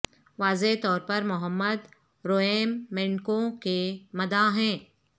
واضح طور پر محمد روئم مینڈکوں کے مداح ہیں